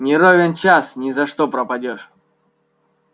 не ровен час ни за что пропадёшь